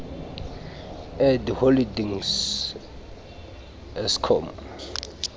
edi holdings ieskom